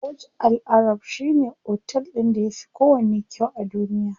Burj Al arab shine otel ɗin da yafi kowanne kyau a duniya.